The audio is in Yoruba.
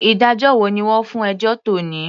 Ìdájọ́ wo ni wọ́n fún ẹjọ́ tòní.